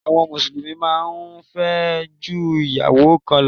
Àwọn Mùsùlùmí máa ń fẹ́ ju ìyàwó kan lọ